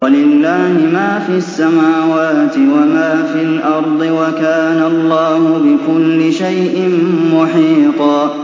وَلِلَّهِ مَا فِي السَّمَاوَاتِ وَمَا فِي الْأَرْضِ ۚ وَكَانَ اللَّهُ بِكُلِّ شَيْءٍ مُّحِيطًا